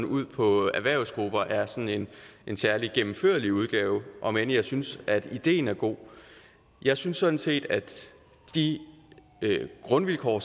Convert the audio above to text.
ud på erhvervsgrupper er sådan en særlig gennemførlig udgave om end jeg synes at ideen er god jeg synes sådan set at de grundvilkår